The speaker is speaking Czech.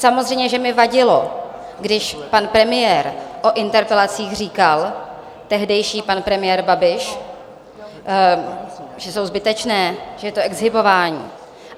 Samozřejmě že mi vadilo, když pan premiér o interpelacích říkal, tehdejší pan premiér Babiš, že jsou zbytečné, že je to exhibování.